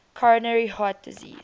coronary heart disease